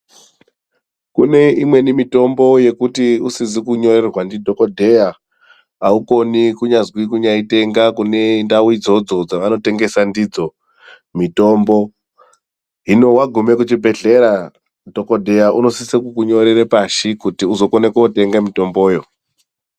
Kune amweni mitombo yekuti usizi kunyorerwa ndidhokodheya aukoni kunyazwi kunyaitenga kune ndau idzodzo dzaunotengeswa ndidzo mitombo. Hino wagume kuchibhedhleya, dhokodheya unosisa kukunyorere pashi kuti uzokone kotenga mitomboyo.